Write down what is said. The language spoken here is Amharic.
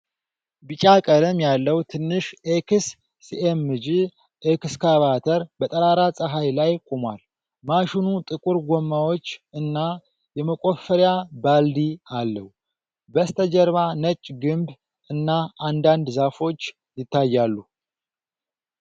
ቢጫ ቀለም ያለው ትንሽ ኤክስሲኤምጂ ኤክስካቫተር በጠራራ ፀሐይ ላይ ቆሟል። ማሽኑ ጥቁር ጎማዎች እና የመቆፈሪያ ባልዲ አለው። በስተጀርባ ነጭ ግንብ እና አንዳንድ ዛፎች ይታያሉ።